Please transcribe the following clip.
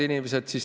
.